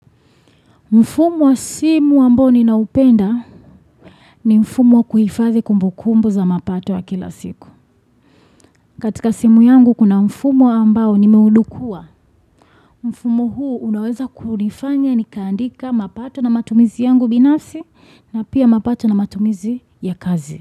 Mfumo wa simu ambao ninaupenda ni mfumo wa kuhifazi kumbukumbu za mapato wa kila siku. Katika simu yangu kuna mfumo ambao nimeudukua. Mfumo huu unaweza kunifanya ni kaandika mapato na matumizi yangu binafsi na pia mapato na matumizi ya kazi.